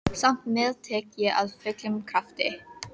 Samt meðtek ég af fullum krafti.